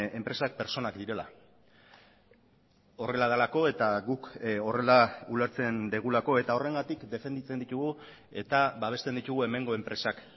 enpresak pertsonak direla horrela delako eta guk horrela ulertzen dugulako eta horrengatik defenditzen ditugu eta babesten ditugu hemengo enpresak